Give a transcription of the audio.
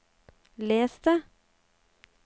les det